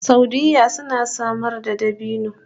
Saudiyya suna samar da dabino